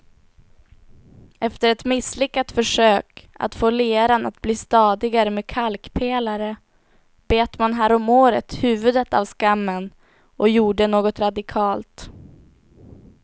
Efter ett misslyckat försök att få leran att bli stadigare med kalkpelare bet man häromåret huvudet av skammen och gjorde något radikalt.